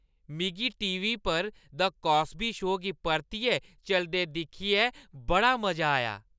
मिगी T. V. पर 'the Cosby show गी परतियै चलदे दिक्खियै बड़ा मजा आया।